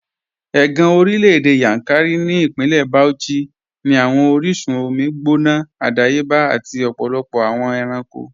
Ẹ̀gàn orílẹ̀-èdè Yankari ni Ipínlẹ̀ Bauchí ni awọn oríṣun omi gbóná àdàyébà àti ọ̀pọ̀lọpọ̀ awọn èrànko